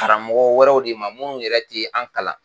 Karamɔgɔ wɛrɛw de ma minnu yɛrɛ ti an kalan.